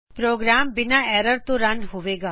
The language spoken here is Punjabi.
ਪ੍ਰੋਗਰਾਮ ਬਿਨਾ ਐਰਰ ਤੋ ਰਨ ਹੋਵੇਗਾ